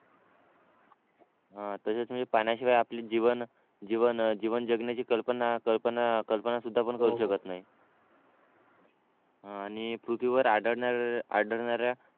हा तसेच म्हणजे पाण्याशिवाय आपले जीवन जीवन जगण्याची कल्पना कल्पना कल्पना सुद्धा पण करू शकत नाही आणि पृथ्वीवर आढळणा आढळणाऱ्या